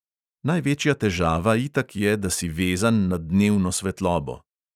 Največja težava itak je, da si vezan na dnevno svetlobo.